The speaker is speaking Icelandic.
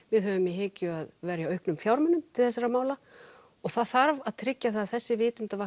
við höfum í hyggju að verja auknum fjármunum til þessara mála og það þarf að tryggja að þessi